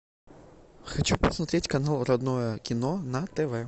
хочу посмотреть канал родное кино на тв